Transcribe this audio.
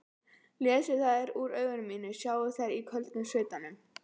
Lesi þær úr augum mínum, sjái þær í köldum svitanum.